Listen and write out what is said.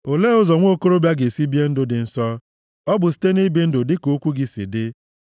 Olee ụzọ nwa okorobịa ga-esi bie ndụ dị nsọ? Ọ bụ site nʼibi ndụ dịka okwu gị si dị.